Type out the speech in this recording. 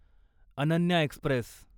Ananya Express